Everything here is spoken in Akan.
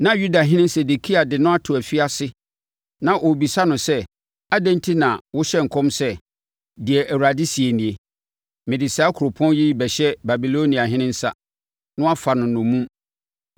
Na Yudahene Sedekia de no ato afiase na ɔrebisa no sɛ adɛn enti na wohyɛ nkɔm sɛ, “Deɛ Awurade seɛ nie: ‘Mede saa kuropɔn yi rebɛhyɛ Babiloniahene nsa, na wafa no nnommum.